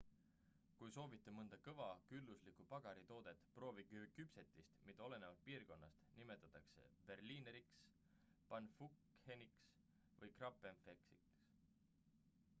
kui soovite mõnda kõva külluslikku pagaritoodet proovige küpsetist mida olenevalt piirkonnast nimetatakse berlineriks pfannkucheniks või krapfeniks